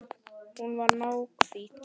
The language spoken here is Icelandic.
Hún var náhvít.